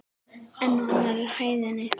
En á annarri hæðinni?